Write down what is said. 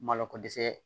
Malo ko dɛsɛ